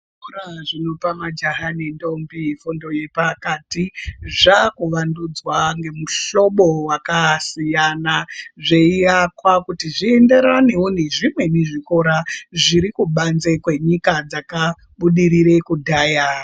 Zvikora zvinope majaha nendombi fundo yepakati zvakuwandudzwa ngemuhlobo wakasiyana zveiakwa kuti zvienderanewo nezvimweni zvikora zvirikubanze kwenyika dzakabudirire kudhaya.